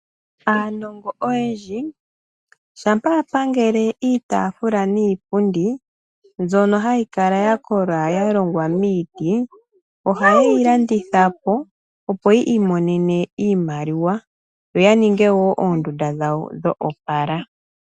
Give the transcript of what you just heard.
Aanongo oyendji shampa ya pangele iitaafula niipundi mbyono hayi kala ya kola ya longwa miiti, ohaye yi landitha po opo yi imonene iimaliwa yo ya ninge woo oondunda dhawo dho opala.